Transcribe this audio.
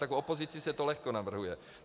Tak v opozici se to lehko navrhuje.